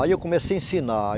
Aí eu comecei a ensinar.